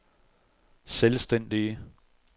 selvstændige